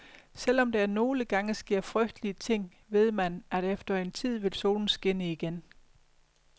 Selv om der nogle gange sker frygtelige ting, ved man, at efter en tid vil solen skinne igen.